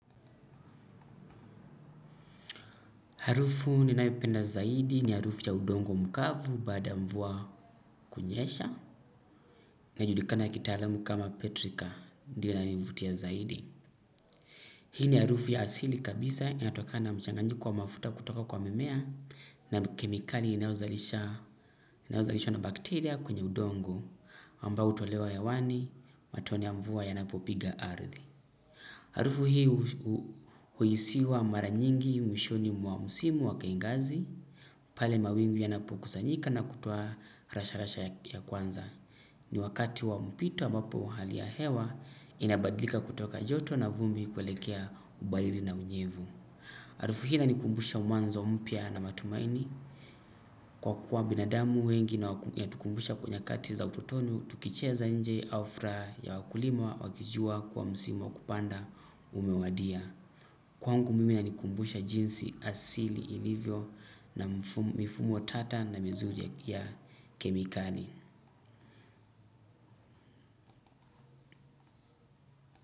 Harufu ni naipenda zaidi ni harufu ya udongo mkavu baada ya mvua kunyesha na judikana kitaalamu kama petrika ndiyo ina nivutia zaidi. Hii ni harufu ya asili kabisa inatokana mchanganyiko wa mafuta kutoka kwa mimea na kemikali inayozalishwa na bakteria kwenye udongo ambao utolewa hewani matone ya mvua yana popiga ardhi. Arufu hii huisiwa mara nyingi mwishoni mwa msimu wakaingazi pale mawingu yanapo kusanyika na kutoa rasha rasha ya kwanza. Ni wakati wa mpito ambapo hali ya hewa inabadlika kutoka joto na vumbi kwelekea ubariri na unyevu. Arufu hii ina nikumbusha mwanzo mpia na matumaini. Kwa kuwa binadamu wengi na ya inatukumbusha kwa nyakati za ututonu. Tukicheza nje au fraa ya wakulima wakijua kuwa msimo wakupanda umewadia kwangu mimi inanikumbusha jinsi asili ilivyo na mifumo tata na mizuri ya kemikali.